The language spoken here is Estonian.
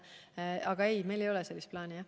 Nii et ei, meil ei ole sellist plaani.